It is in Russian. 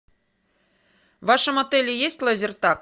в вашем отеле есть лазертаг